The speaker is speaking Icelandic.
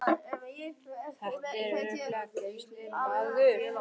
Þar að auki ertu giftur maður.